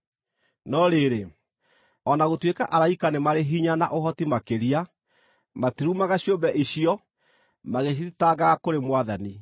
no rĩrĩ, o na gũtuĩka araika nĩ marĩ hinya na ũhoti makĩria, matirumaga ciũmbe icio magĩcithitangaga kũrĩ Mwathani.